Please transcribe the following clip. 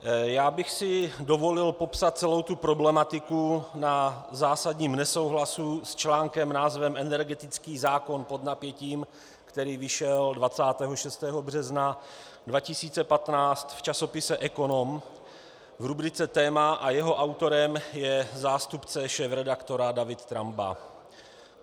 Já bych si dovolil popsat celou tu problematiku na zásadním nesouhlasu s článkem s názvem Energetický zákon pod napětím, který vyšel 26. března 2015 v časopise Ekonom v rubrice Téma, a jeho autorem je zástupce šéfredaktora David Tramba.